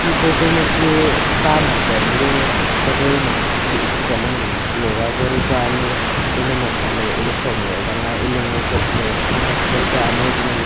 photo ma ku a ta master nu a huzoi am ang chi student yoga kori koa ano ley eley mok sak lah oo ley eley ngokoh ley exercise kori kah ano ngo leh.